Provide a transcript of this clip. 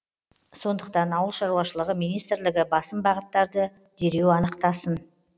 сондықтан ауыл шаруашылығы министрлігі басым бағыттарды дереу анықтасын